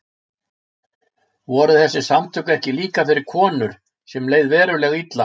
Voru þessi samtök ekki líka fyrir konur sem leið verulega illa?